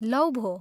लौ भो!